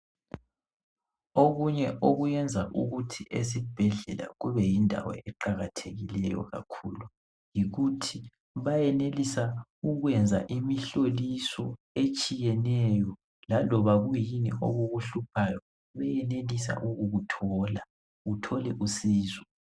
Okunye okuyenza ukuthi ezibhedlela kube yindawo eqakathekileyo kakhulu. Yikuthi bayenelisa ukwenza imihloliso etshiyeneyo, laloba kuyini okukuhluphayo beyenelisa ukukuthola ,uthole usizo .